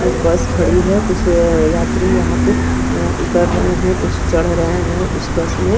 बस खड़ी है कुछ यात्री यहां पे उतर रहे हैं कुछ चढ़ रहे हैं उस बस में।